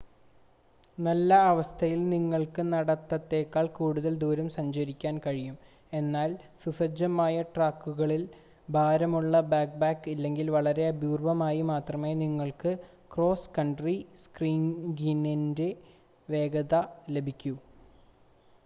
നല്ല അവസ്ഥയിൽ നിങ്ങൾക്ക് നടത്തത്തേക്കാൾ കൂടുതൽ ദൂരം സഞ്ചരിക്കാൻ കഴിയും എന്നാൽ സുസജ്ജമായ ട്രാക്കുകളിൽ ഭാരമുള്ള ബാക്ക്പാക്ക് ഇല്ലെങ്കിൽ വളരെ അപൂർവമായി മാത്രമേ നിങ്ങൾക്ക് ക്രോസ് കൺട്രി സ്കീയിംഗിൻ്റെ വേഗത ലഭിക്കൂ